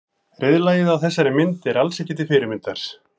Reiðlagið á þessari mynd er alls ekki til fyrirmyndar.